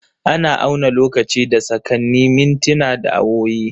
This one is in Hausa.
Ana auna lokaci da sakanni, mintina, da awowi.